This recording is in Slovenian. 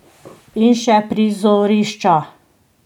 In še prizorišča.